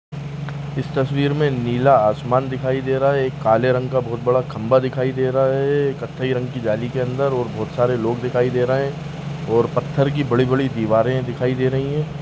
इस तस्वीर मे नीला आसमान दिखाई दे रहा है एक काले रंग का बहोत बड़ा खंबा दिखाई दे रहा है कथै रंग की जाली के अंदर और बहुत सारे लोग दिखाई दे रहे हैं और पत्थर की बड़ी बड़ी दीवारें दिखाई दे रही हैं।